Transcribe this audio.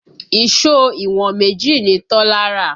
Ìṣó ìwọ̀n méjì ni Tọ́lá rà